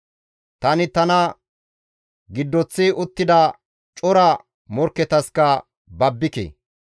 Tani tana giddoththi uttida cora morkketaska babbike.